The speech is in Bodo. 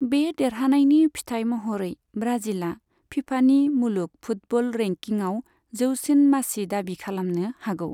बे देरहानायनि फिथाइ महरै ब्राजिलआ फीफानि मुलुग फुटबल रेंकिंआव जौसिन मासि दाबि खालामनो हागौ।